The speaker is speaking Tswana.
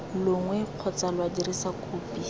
longwe kgotsa lwa dirisa kopi